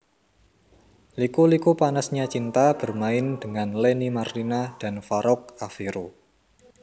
Liku Liku Panasnya Cinta bermain dengan Lenny Marlina dan Farouk Affero